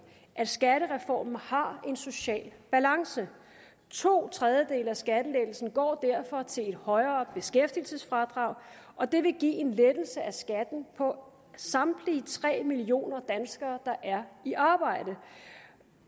at skattereformen har en social balance to tredjedele af skattelettelsen går derfor til højere beskæftigelsesfradrag og det vil give en lettelse i skatten for samtlige tre millioner danskere der er i arbejde